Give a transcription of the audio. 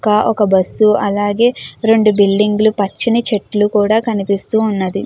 కా ఒక బస్సు అలాగే రెండు బిల్డింగులు పచ్చినీ చెట్లు కూడా కనిపిస్తూ ఉన్నది.